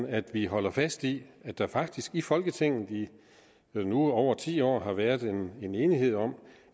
at vi holder fast i at der faktisk i folketinget i nu over ti år har været en en enighed om